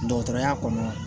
Dɔgɔtɔrɔya kɔnɔ